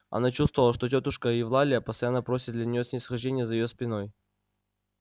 она чувствовала что тётушка евлалия постоянно просит для нее снисхождения за её спиной